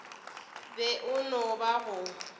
be e no ba go